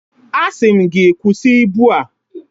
Asị m gị kwụsị ibu a!